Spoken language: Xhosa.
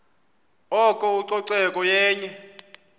oko ucoceko yenye